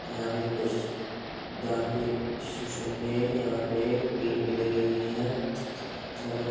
यहाँ पे कुछ दान पे सु-सुनने यहाँ पे गेट भी लगे हुये है यहाँ पे --